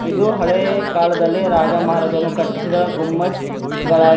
ಇದು ಹಳೇ ಕಾಲದಲ್ಲಿ ರಾಜ ಮಹಾರಾಜಾನು ಕಟ್ಟಿಸಿದ ಗುಮ್ಮಜ್ ಗಳಾಗಿ--